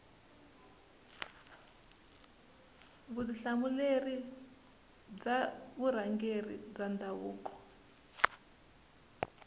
vutihlamuleri bya vurhangeri bya ndhavuko